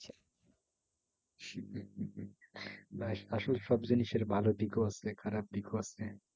ব্যাস আসলে সব জিনিসের ভালো দিকও আছে খারাপ দিকও আছে।